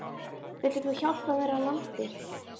Vill einhver hjálpa mér að landa?